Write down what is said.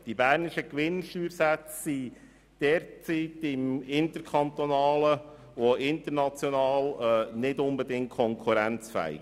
Die bernischen Gewinnsteuersätze sind derzeit im interkantonalen und internationalen Vergleich nicht unbedingt konkurrenzfähig.